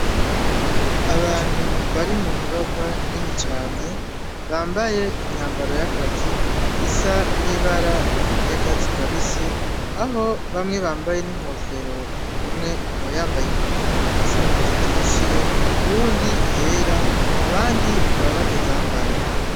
Abantu bari mu nyubakwa nini cane bambaye imyambaro yakazi isa n'ibara ry'akazi kabisi aho bamwe bambaye n'inkofero umwe akaba yambaye inkofero isa n'umutu utuyishiye uwundi yera abandi bakaba batazambaye.